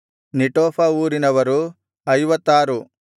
ನೆಟೋಫ ಊರಿನವರು 56